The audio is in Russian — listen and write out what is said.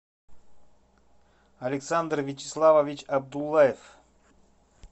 александр вячеславович абдулаев